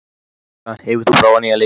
Alexa, hefur þú prófað nýja leikinn?